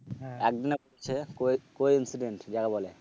কো coincident যাকে বলে